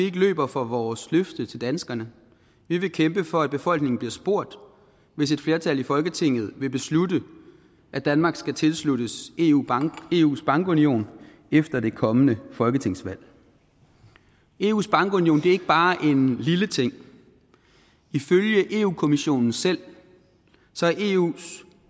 løber fra vores løfte til danskerne vi vil kæmpe for at befolkningen bliver spurgt hvis et flertal i folketinget vil beslutte at danmark skal tilsluttes eus bankunion efter det kommende folketingsvalg eus bankunion ikke bare en lille ting ifølge europa kommissionen selv er eus